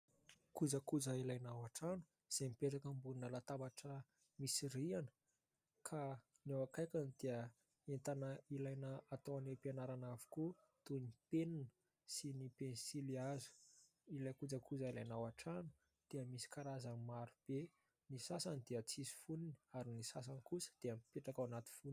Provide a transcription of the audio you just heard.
Kojakoja ilaina ao an-trano izay mipetraka ambonina latabatra misy rihana ka ny ao akaikiny dia entana ilaina atao any am-pianarana avokoa toy ny penina sy ny pensilihazo. Ilay kojakoja ilana ao an-trano dia misy karazany marobe, ny sasany dia tsisy fonony ary ny sasany kosa dia mipetraka ao anaty fonony.